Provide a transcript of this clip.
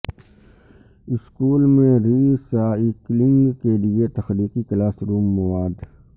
school میں recycling کے لئے تخلیقی کلاس روم مواد